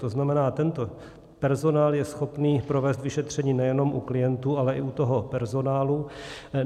To znamená, tento personál je schopný provést vyšetření nejenom u klientů, ale i u toho personálu.